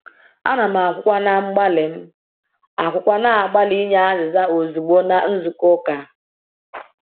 Ana m akwukwa na-agbalị m akwukwa na-agbalị inye azịza ozugbo na nzukọ ụka.